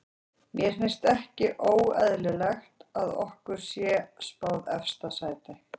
Mér finnst ekki óeðlilegt að okkur sé spáð efsta sæti.